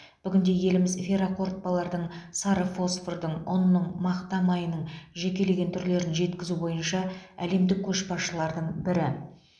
бүгінде еліміз ферроқорытпалардың сары фосфордың ұнның мақта майының жекелеген түрлерін жеткізу бойынша әлемдік көшбасшылардың бірі